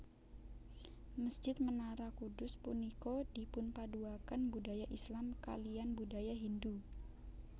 Mesjid Menara Kudus punika dipunpaduaken budaya Islam kaliyan budaya Hindu